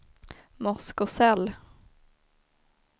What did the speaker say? Moskosel